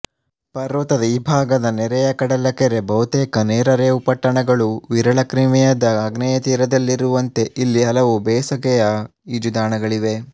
ಪರ್ವತದ ಈ ಭಾಗದ ನೆರೆಯ ಕಡಲಕರೆಬಹುತೇಕ ನೇರ ರೇವುಪಟ್ಟಣಗಳು ವಿರಳ ಕ್ರಿಮಿಯದ ಆಗ್ನೇಯ ತೀರದಲ್ಲಿರುವಂತೆ ಇಲ್ಲಿ ಹಲವು ಬೇಸಗೆಯ ಈಜುದಾಣಗಳಿವೆ